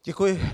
Děkuji.